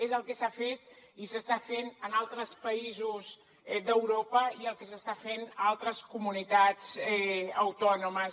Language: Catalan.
és el que s’ha fet i s’està fent en altres països d’europa i el que s’està fent a altres comunitats autònomes